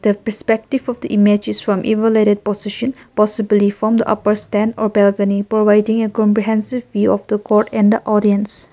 the pispective of the image is from evelated position possibly from the upper stand or balcony providing a comprehensive view of the court and the audience.